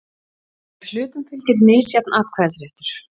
ef hlutum fylgir misjafn atkvæðisréttur.